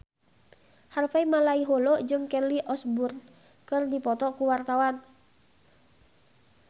Harvey Malaiholo jeung Kelly Osbourne keur dipoto ku wartawan